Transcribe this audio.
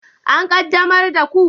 An qaddamar da ku?